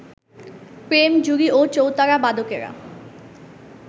প্রেম-জুড়ি ও চৌতারা-বাদকেরা